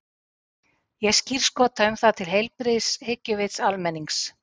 Ég skírskota um það til heilbrigðs hyggjuvits almennings.